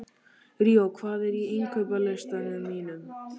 Ríó, hvað er á innkaupalistanum mínum?